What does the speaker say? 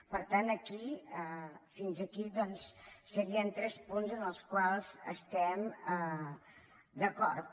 per tant aquí fins aquí doncs serien tres punts amb els quals estem d’acord